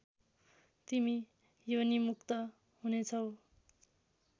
तिमी योनिमुक्त हुनेछौ